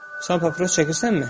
Sən papiros çəkirsənmi?